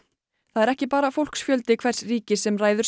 það er ekki bara fólksfjöldi hvers ríkis sem ræður